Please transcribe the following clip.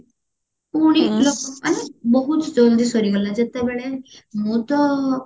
ପୁଣି ଲୋକମାନେ ବହୁତ ଜଳଦି ସରିଗଲା ଯେତେବେଳେ ମୁଁ ତ